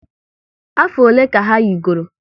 Afọ ole ka ha yigoro?